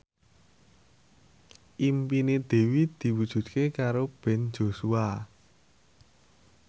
impine Dewi diwujudke karo Ben Joshua